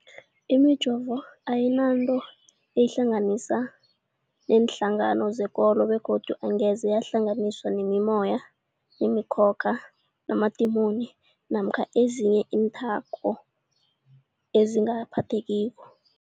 Imijovo ayinanto eyihlanganisa neenhlangano zekolo begodu angeze yahlanganiswa nemimoya, nemi khokha, namadimoni namkha ezinye iinthako ezingaphathekiko.